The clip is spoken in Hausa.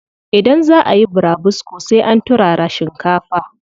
Idan zaa ayi burabusko sai an turara shinkafa.